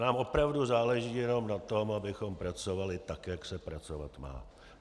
Nám opravdu záleží jenom na tom, abychom pracovali tak, jak se pracovat má.